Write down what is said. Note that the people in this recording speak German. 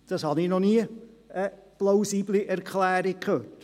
Ich habe dafür noch nie eine plausible Erklärung gehört.